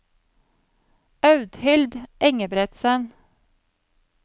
Audhild Engebretsen